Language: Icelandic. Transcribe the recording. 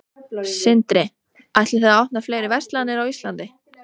Sindri: Ætlið þið að opna fleiri verslanir á Íslandi?